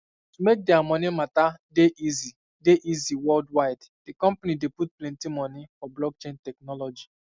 to make dia money matter dey easy dey easy worldwidethe um company dey um put plenty money for blockchain technology